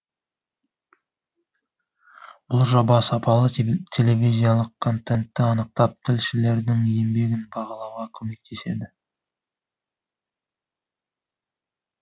бұл жоба сапалы телевизиялық контентті анықтап тілшілердің еңбегін бағалауға көмектеседі